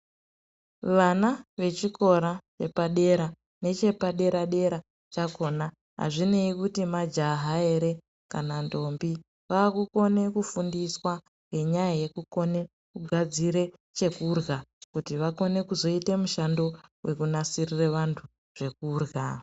Vana vechikora chepadera nechepadera dera chakona azvinei kuti majaha ere kana ndombi vakukona kufundiswa ngenyaya yekukona kugadzira chekurya kuti vakone kuzoita mishando yekunasirira vantu.